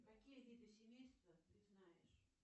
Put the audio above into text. какие виды семейства ты знаешь